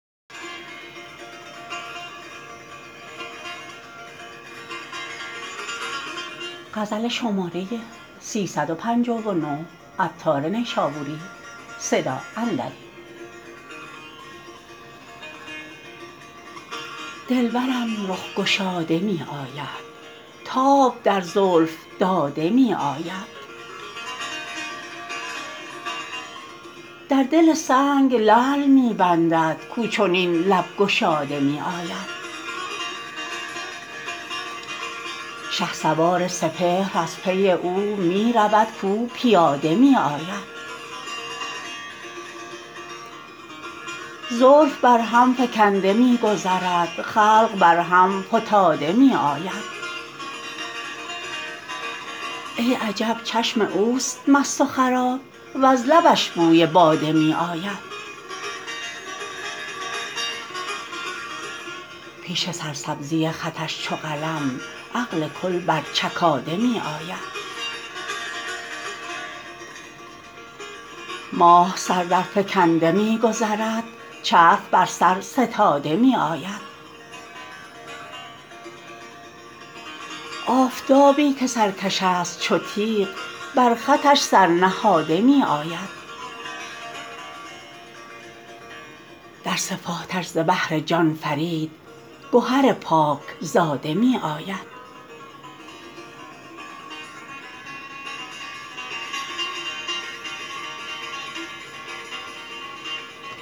دلبرم رخ گشاده می آید تاب در زلف داده می آید در دل سنگ لعل می بندد کو چنین لب گشاده می آید شهسوار سپهر از پی او می رود کو پیاده می آید زلف بر هم فکنده می گذرد خلق بر هم فتاده می آید ای عجب چشم اوست مست و خراب وز لبش بوی باده می آید پیش سرسبزی خطش چو قلم عقل کل بر چکاده می آید ماه سر درفکنده می گذرد چرخ بر سر ستاده می آید آفتابی که سرکش است چو تیغ بر خطش سر نهاده می آید در صفاتش ز بحر جان فرید گهر پاک زاده می آید